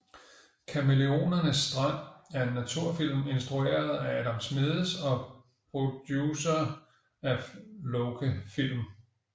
Kamæleonernes strand er en naturfilm instrueret af Adam Schmedes og producer af Loke Film